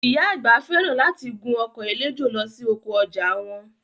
Ìyá àgbà fẹ́ràn láti gun ọkọ̀ eléjò lọ sí oko ọjà wọn